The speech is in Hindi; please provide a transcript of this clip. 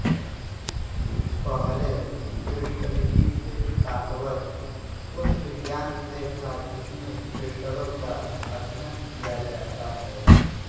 पहले क्रिस्टलिकी से तात्पर्य उस विज्ञान से था जिसमें क्रिस्टलों का अध्ययन किया जाता है